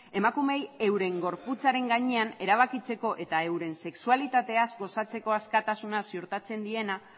emakumeei euren gorputzaren gainean erabakitzeko eta euren sexualitateaz gozatzeko askatasuna ziurtatzen diena